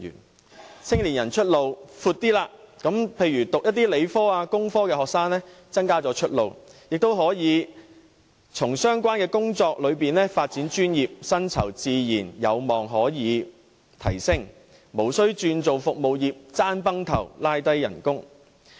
他們的青年人出路比較闊，讓理科或工科的學生有較多出路，亦可以在相關工作中發展專業，薪酬自然有望可以提升，無須轉行從事競爭激烈的服務業，以致拖低工資。